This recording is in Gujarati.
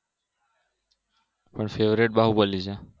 પણ favorite બાહુબલી છે